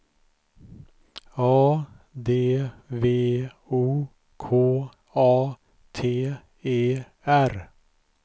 A D V O K A T E R